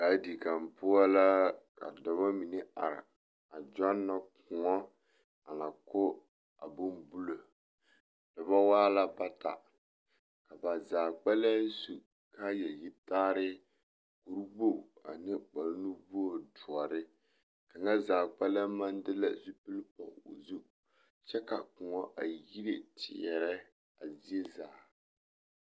Gaadin kaŋ poɔ la ka dɔbɔ mine are a gyɔnɔ kõɔ a na ko a bombulo, a dɔbɔ waa la bata, ka ba zaa kpɛlɛm su kaaya yitaare kuri wogi ane kpare nuwogiri doɔre, kaŋa zaa kpɛlɛm maŋ de la zupili pɔge o zu kyɛ ka kõɔ a yire teɛrɛ a zie zaa.